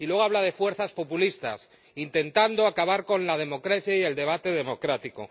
Y luego habla de fuerzas populistas, intentando acabar con la democracia y el debate democrático.